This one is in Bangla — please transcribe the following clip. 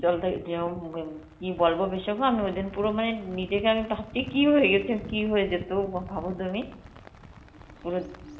কি বলবো বিশাখা, আমি ওইদিন পুরো মানে নিজেকে আমি কি হয়ে গেছে, কি হয়েছে তো অ ভাবো তুমি পুরো